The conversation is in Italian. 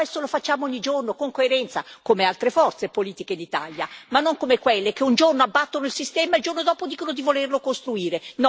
Ma questo lo facciamo ogni giorno, con coerenza, come altre forze politiche d'Italia, ma non come quelle che un giorno abbattono il sistema e il giorno dopo dicono di volerlo costruire.